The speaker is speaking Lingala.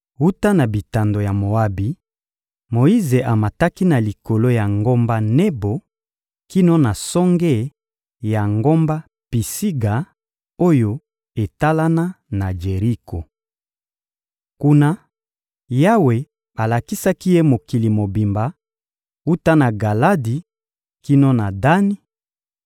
Wuta na bitando ya Moabi, Moyize amataki na likolo ya ngomba Nebo kino na songe ya ngomba Pisiga oyo etalana na Jeriko. Kuna, Yawe alakisaki ye mokili mobimba: wuta na Galadi kino na Dani,